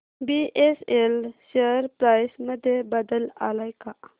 BSL share price मध्ये बदल आलाय का